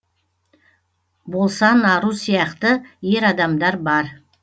болсанару сияқты ер адамдар бар